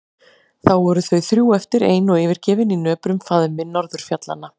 Þá voru þau þrjú eftir ein og yfirgefin í nöprum faðmi norðurfjallanna.